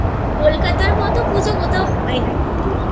কলকাতার মত পুজো কোথাও হয় না কিন্তু